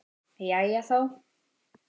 Jæja, þá.